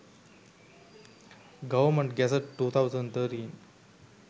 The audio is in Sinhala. government gazette 2013